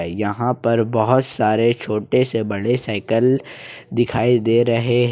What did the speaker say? यहां पर बहुत सारे छोटे से बड़े साइकिल दिखाई दे रहे।